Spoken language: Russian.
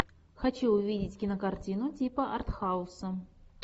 хочу увидеть кинокартину типа артхауса